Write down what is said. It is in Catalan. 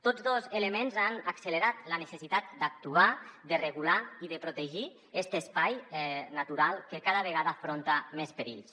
tots dos elements han accelerat la necessitat d’actuar de regular i de protegir este espai natural que cada vegada afronta més perills